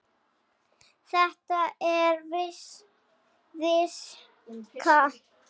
Þetta er viska!